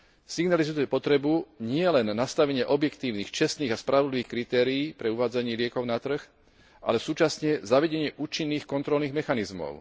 Signalizuje je to potrebu nielen nastavenie objektívnych, čestných a spravodlivých kritérií pre uvádzanie liekov na trh, ale súčasne zavedenie účinných kontrolných mechanizmov.